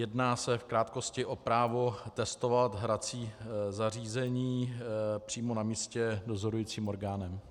Jedná se, v krátkosti, o právo testovat hrací zařízení přímo na místě dozorujícím orgánem.